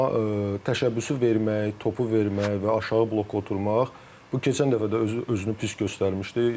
Amma təşəbbüsü vermək, topu vermək və aşağı bloka oturmaq bu keçən dəfə də özünü pis göstərmişdi.